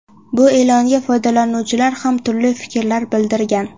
Bu e’longa foydalanuvchilar ham turli fikrlar bildirgan.